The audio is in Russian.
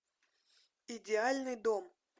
идеальный дом